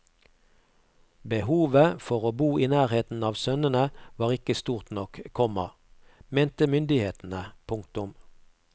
Behovet for å bo i nærheten av sønnene var ikke stort nok, komma mente myndighetene. punktum